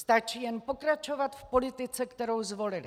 Stačí jen pokračovat v politice, kterou zvolili.